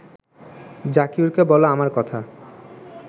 জাকিউরকে বলো আমার কথা